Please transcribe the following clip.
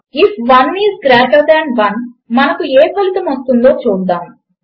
if 1 is greater than 1 మనకు ఏ ఫలితము వస్తుందో చూద్దాము